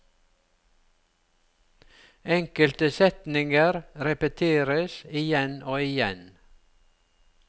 Enkelte setninger repeteres igjen og igjen.